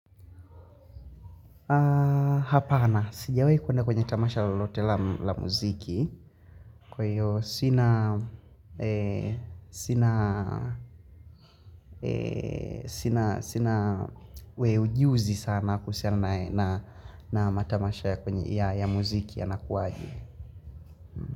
Hapana sijawai kwenda kwenye tamasha lolote la mziki kwa hio sina sina we ujuzi sana kuhusiana na matamasha ya muziki yanakuaje.